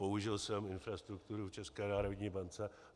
Použil jsem infrastrukturu v České národní bance.